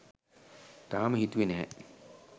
තාම හිතුවේ නැහැ